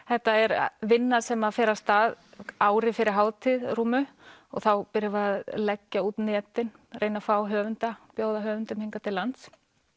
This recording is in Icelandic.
þetta er vinna sem fer af stað ári fyrir hátíð rúmu og þá byrjum við að leggja út netin reyna að fá höfunda bjóða höfundum hingað til lands